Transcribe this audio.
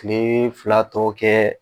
Nin fila tɔ kɛ